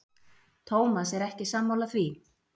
Tómas er ekki sammála því.